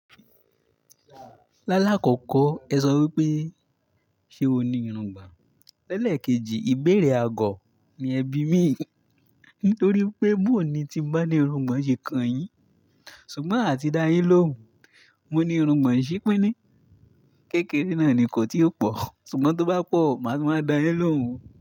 Lálákọ̀kọ́ ẹ sọ wípé ṣé o ní irungbọ̀n? Lẹ́lẹ̀ kejì ìbéèrè àgọ̀ ni ẹ bí mi, nítorí pé boo ní tí mo bá ní irungbọ̀n ṣe kànyìn. Ṣùgbọ́n àti dá yín lóhùn, mo ní irungbọ̀n ṣípín ní, kékeré náà nì kò tí ó pọ̀, ṣùgbọ́n tó bá pọ̀ màá máa dá yín lóhùn o.